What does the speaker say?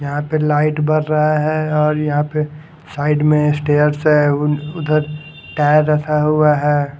यहा पे लाइट भर रहा है और यहाँ पे साइड मैं स्टेर्स हैं उधर टायर रखा हुआ हैं।